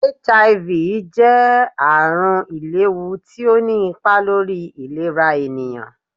HIV jẹ àrùn ìléhú tí ọ ní ipá lórí ìlerá ènìyàn